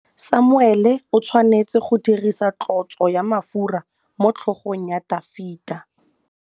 Samuele o tshwanetse go dirisa tlotsô ya mafura motlhôgong ya Dafita.